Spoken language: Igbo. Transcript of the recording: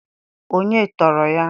Onye tọọrọ ya?